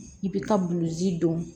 I bi ka buluji dɔn